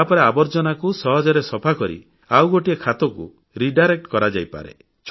ତାପରେ ଆବର୍ଜ୍ଜନାକୁ ସହଜରେ ସଫାକରି ଆଉଗୋଟେ ଖାତରେ ପିଟ୍ କୁ ଛାଡିଦିଆଯାଏ